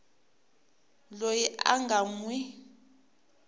loyi a nga n wi